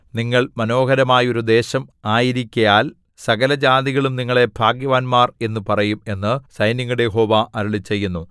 നിങ്ങൾ മനോഹരമായൊരു ദേശം ആയിരിക്കയാൽ സകലജാതികളും നിങ്ങളെ ഭാഗ്യവാന്മാർ എന്നു പറയും എന്നു സൈന്യങ്ങളുടെ യഹോവ അരുളിച്ചെയ്യുന്നു